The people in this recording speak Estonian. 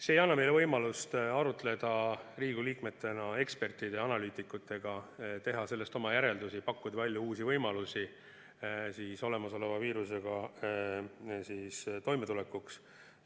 See ei anna meile võimalust arutleda Riigikogu liikmetena ekspertide ja analüütikutega, teha sellest oma järeldusi, pakkuda välja uusi võimalusi viirusega toimetulekuks.